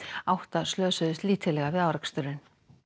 átta slösuðust lítillega við áreksturinn